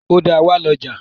Ọ̀dà wà lọ́jà.